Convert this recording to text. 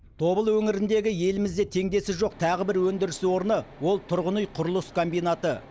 тобыл өңіріндегі елімізде теңдесі жоқ тағы бір өндіріс орны ол тұрғын үй құрылыс комбинаты